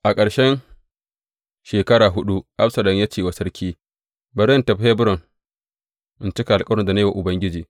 A ƙarshen shekara huɗu, Absalom ya ce wa sarki, Bari in tafi Hebron in cika alkawarin da na yi wa Ubangiji.